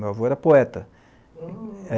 Meu avô era poeta. Hm